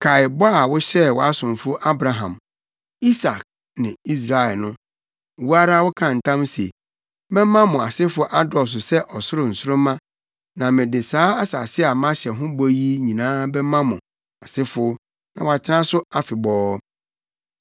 Kae bɔ a wohyɛɛ wʼasomfo Abraham, Isak ne Israel no. Wo ara wokaa ntam se, ‘Mɛma mo asefo adɔɔso sɛ ɔsoro nsoromma na mede saa asase a mahyɛ mo ho bɔ yi nyinaa bɛma mo asefo na wɔatena so afebɔɔ.’ ”